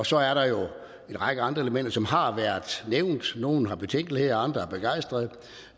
så er der jo en række andre elementer som har været nævnt og nogle har betænkeligheder og andre er begejstrede